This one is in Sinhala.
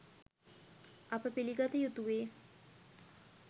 අප පිළිගත යුතුවේ